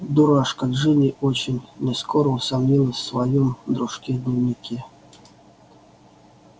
дурашка джинни очень нескоро усомнилась в своём дружке-дневнике